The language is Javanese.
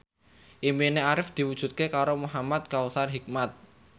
impine Arif diwujudke karo Muhamad Kautsar Hikmat